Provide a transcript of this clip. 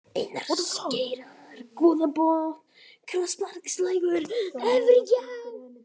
Einarsgeirar, Goðabotn, Krosspartslækur, Efrigjá